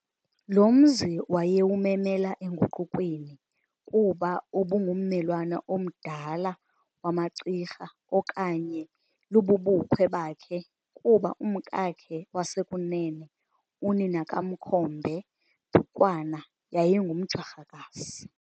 Lo mzi wayewumemela enguqukweni, kuba ubungummelwane omdala wamaCirha okanye lububukhwe bakhe, kuba umkakhe wasekunene, unina kaMakhombe, Dukwana, yayingumJwarhakazi.